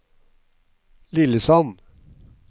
Lillesand